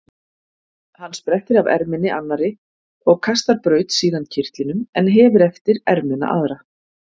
Hann sprettir af erminni annarri og kastar braut síðan kyrtlinum en hefir eftir ermina aðra.